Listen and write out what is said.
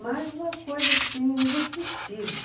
Mas uma coisa assim indescritível.